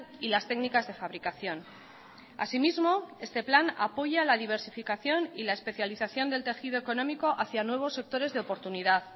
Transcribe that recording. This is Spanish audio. y las técnicas de fabricación asimismo este plan apoya la diversificación y la especialización del tejido económico hacia nuevos sectores de oportunidad